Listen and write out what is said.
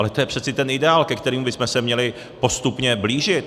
Ale to je přece ten ideál, ke kterému bychom se měli postupně blížit.